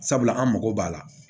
Sabula an mago b'a la